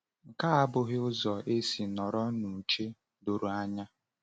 .Nke a abụghị ụzọ esi nọrọ n’uche doro anya.